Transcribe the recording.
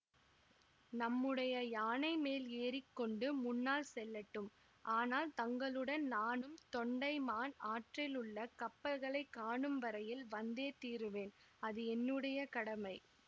நம்முடைய யானை மேல் ஏறிக்கொண்டு முன்னால் செல்லட்டும் ஆனால் தங்களுடன் நானும் தொண்டைமான் ஆற்றில் உள்ள கப்பல்களைக் காணும் வரையில் வந்தே தீருவேன் அது என்னுடைய கடமை